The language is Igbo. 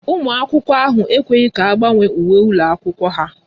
Ụmụ akwụkwọ ekweghị ka agbanwe uwe ụlọ akwụkwọ ha